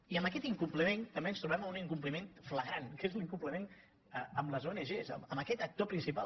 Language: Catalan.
i amb aquest incompliment també ens trobem amb un incompliment flagrant que és l’incompliment amb les ong amb aquest actor principal